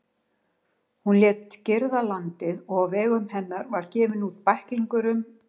Hún lét girða landið, og á vegum hennar var gefinn út bæklingur um